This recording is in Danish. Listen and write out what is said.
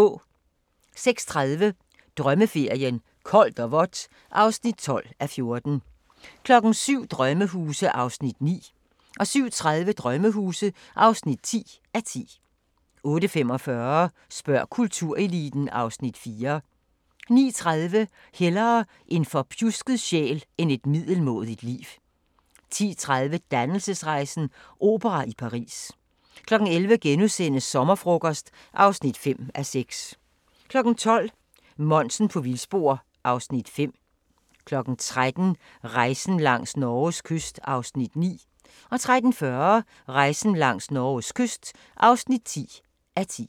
06:30: Drømmeferien: Koldt og vådt (12:14) 07:00: Sommerhuse (9:10) 07:30: Sommerhuse (10:10) 08:45: Spørg kultureliten (Afs. 4) 09:30: Hellere en forpjusket sjæl end et middelmådigt liv 10:30: Dannelsesrejsen – opera i Paris 11:00: Sommerfrokost (5:6)* 12:00: Monsen på vildspor (Afs. 5) 13:00: Rejsen langs Norges kyst (9:10) 13:40: Rejsen langs Norges kyst (10:10)